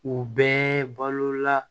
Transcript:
U bɛɛ balola